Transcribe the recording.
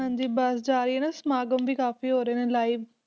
ਹਾਂਜੀ ਬਸ ਜਾ ਰਹੀ ਹੈ ਨਾ ਸਮਾਗਮ ਵੀ ਕਾਫ਼ੀ ਹੋਰ ਰਹੇ ਨੇ live